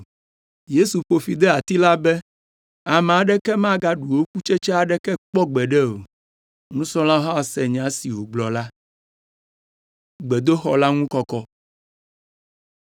Yesu ƒo fi de ati la be, “Ame aɖeke magaɖu wò kutsetse aɖeke kpɔ gbeɖe o.” Nusrɔ̃lawo hã se nya si wògblɔ la.